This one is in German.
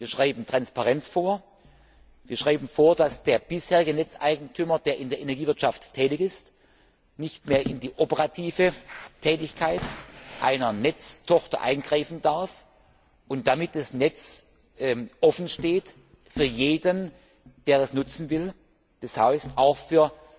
Wir schreiben Transparenz vor, wir schreiben vor, dass der bisherige Netzeigentümer, der in der Energiewirtschaft tätig ist, nicht mehr in die operative Tätigkeit einer Netztochter eingreifen darf und damit das Netz offensteht für jeden, der es nutzen will, das heißt, auch für